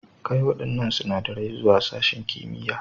Kai waɗannan sinadarai zuwa sashin kimiyya.